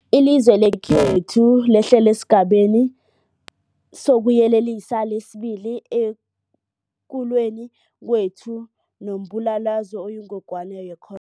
Ilizwe lekhethu lehlele esiGabeni sokuYelelisa sesi-2 ekulweni kwethu nombulalazwe oyingogwana ye-cor